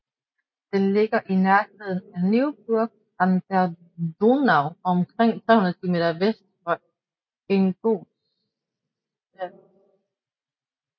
Den ligger i nærheden af Neuburg an der Donau og omkring 35 km vest for Ingolstadt